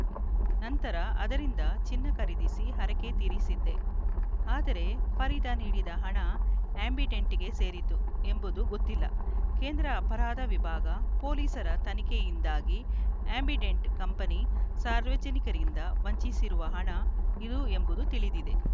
ನಂತರ ಅದರಿಂದ ಚಿನ್ನ ಖರೀದಿಸಿ ಹರಕೆ ತೀರಿಸಿದ್ದೆ ಆದರೆ ಫರೀದ ನೀಡಿದ ಹಣ ಆ್ಯಂಬಿಡೆಂಟ್‌ಗೆ ಸೇರಿದ್ದು ಎಂಬುದು ಗೊತ್ತಿಲ್ಲ ಕೇಂದ್ರ ಅಪರಾಧ ವಿಭಾಗ ಪೊಲೀಸರ ತನಿಖೆಯಿಂದಾಗಿ ಆ್ಯಂಬಿಡೆಂಟ್‌ ಕಂಪನಿ ಸಾರ್ವಜನಿಕರಿಂದ ವಂಚಿಸಿರುವ ಹಣ ಇದು ಎಂಬುದು ತಿಳಿದಿದೆ